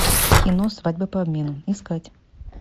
кино свадьба по обмену искать